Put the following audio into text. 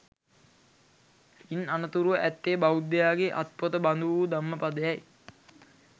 ඉන් අනතුරුව ඇත්තේ බෞද්ධයාගේ අත්පොත බඳු වූ ධම්මපදය යි